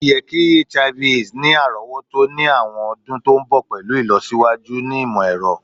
o ye ki Hiv/Aids ni arowoto ni awọn ọdun to nbọ pẹlu ilosiwaju ni imọ-ẹrọ